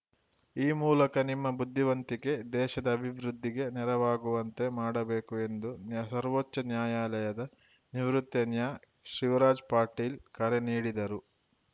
ಈ ಮೂಲಕ ನಿಮ್ಮ ಬುದ್ಧಿವಂತಿಕೆ ದೇಶದ ಅಭಿವೃದ್ಧಿಗೆ ನೆರವಾಗುವಂತೆ ಮಾಡಬೇಕು ಎಂದು ನೇಹ್ ಸರ್ವೋಚ್ಚ ನ್ಯಾಯಾಲಯದ ನಿವೃತ್ತ ನ್ಯಾ ಶಿವರಾಜ್‌ ಪಾಟೀಲ್‌ ಕರೆ ನೀಡಿದರು